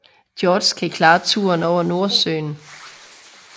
George kan klare turen over Nordsøen